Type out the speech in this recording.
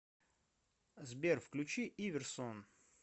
сбер включи иверсон